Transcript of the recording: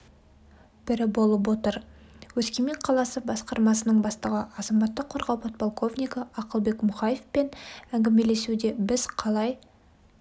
бірі болып отыр өскемен қаласы басқармасының бастығы азаматтық қорғау подполковнигі ақылбек мұхаевпен әңгімелесуде біз қалай